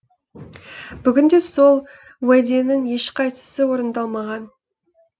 бүгінде сол уәденің ешқайсысы орындалмаған